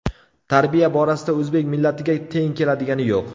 Tarbiya borasida o‘zbek millatiga teng keladigani yo‘q.